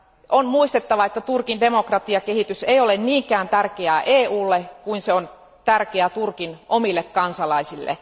On muistettava, että Turkin demokratiakehitys ei ole niinkään tärkeää EUlle kuin se on tärkeää Turkin omille kansalaisille.